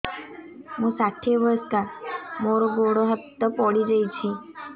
ମୁଁ ଷାଠିଏ ବୟସ୍କା ମୋର ଗୋଡ ହାତ ପଡିଯାଇଛି